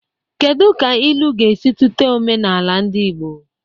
Kedu ka ilu ga-esi tụte omenala ndị Igbo?